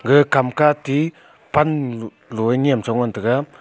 ga kam ke ati pan lo a nyem chong ngan tega.